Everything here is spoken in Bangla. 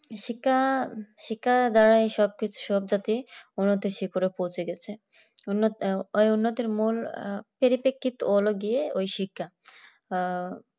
শিক্ষা শিক্ষা দাঁড়ায় সব কিছু চলতেছে অনেক বেশি করে পৌঁছে গেছে উন্নতির মূল পেরিপেক্ষিত হলো কি ওই শিক্ষা আহ